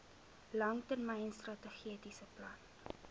langtermyn strategiese plan